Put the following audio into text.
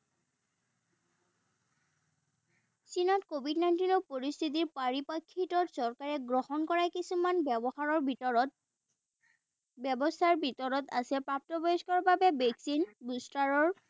চীনত covid nineteen ৰ পৰিস্থিতিৰ পৰিপ্ৰেক্ষিত চৰকাৰে গ্ৰহণ কৰা কিছুমান ব্যৱহাৰৰ ভিতৰত ব্যবস্থাৰ ভিতৰত আছে প্ৰাপ্তবয়স্কৰ বাবে ভেকচিন বিস্তাৰ